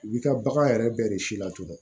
U bi ka bagan yɛrɛ bɛɛ de si la tugun